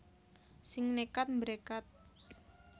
Sing nekat mbrekat